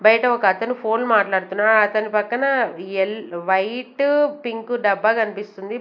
బయట ఒకతను ఫోన్ మాట్లాడుతున్నాడు అతని పక్కన ఎల్ వైటు పింకు డబ్బా కన్పిస్తుంది.